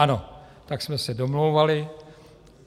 - Ano, tak jsme se domlouvali.